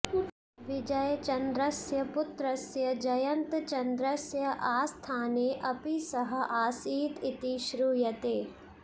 विजयचन्द्रस्य पुत्रस्य जयन्तचन्द्रस्य आस्थाने अपि सः आसीत् इति श्रूयते